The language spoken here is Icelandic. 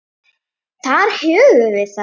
Þar höfum við það!